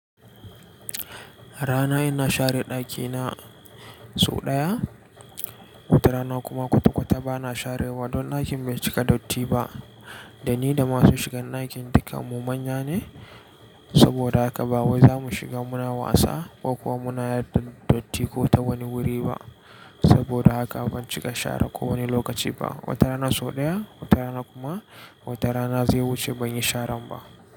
Rana ina share ɗakina sau ɗaya, wata rana kuma kwata-kwata bana sharewa, don ɗakin bai cika datti ba. Da ni da masu shiga ɗakin, dukanmu manya ne, saboda haka ba wai za mu shiga muna wasa ko kuma muna yarda datti ko ta wani wuri ba. Saboda haka ban cika share ko wani lokaci ba. Wata rana sau ɗaya, wata rana kuma wata rana zai wuce ban yi sharan ba.